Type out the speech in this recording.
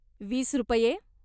वीस रुपये.